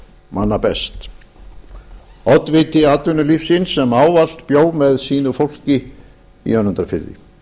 manna best oddviti atvinnulífsins sem ávallt bjó með sínu fólki í önundarfirði